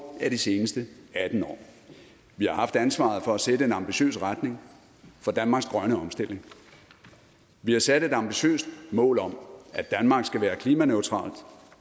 af de seneste atten år vi har haft ansvaret for at sætte en ambitiøs retning for danmarks grønne omstilling vi har sat et ambitiøst mål om at danmark skal være klimaneutralt